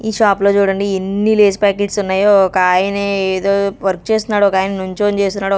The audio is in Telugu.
ఈ షాప్ లో చూడండి ఎన్ని లేస్ ప్యాకెట్స్ ఉన్నయో ఒక ఆయనే ఏదో వర్క్ చేస్తున్నాడు ఒక ఆయన నుంచొని చేస్తున్నాడు.